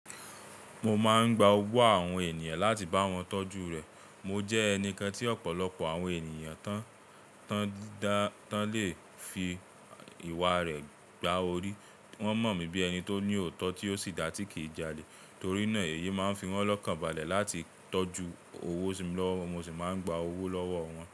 Mo máa ń gba owó àwọn ènìyàn láti bá wọn tọ́jú rẹ̀. Mo jẹ́ ẹnikán tí ọ̀pọ̀lọpọ̀ àwọn ènìyàn tí wọ́n le fi ìwà rẹ̀ gba orí. Wọ́n mọ̀ mí bíi ẹni tó ní òótọ́ tí ó sì dáa tí kì ín jalè. Torí náà, èyí máa ń fi wọ́n lọ́kànbalẹ̀ láti tọ́jú owó si lọ́wọ́. Mo sì máa ń gba owó lọ́wọ́ wọn.